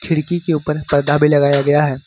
खिड़की के ऊपर पर्दा भी लगाया गया है।